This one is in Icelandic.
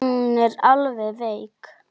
Nú er hún alveg veik.